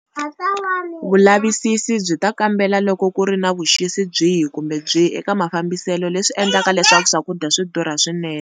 Vulavisisi byi ta kambela loko ku ri na vuxisi byihi kumbe byihi eka mafambiselo leswi endlaka leswaku swakudya swi durha swinene.